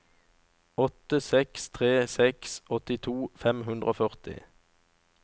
åtte seks tre seks åttito fem hundre og førti